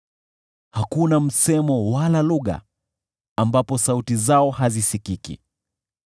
Hakuna msemo wala lugha, ambapo sauti zao hazisikiki.